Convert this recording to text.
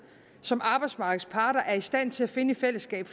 som arbejdsmarkedets parter er i stand til at finde i fællesskab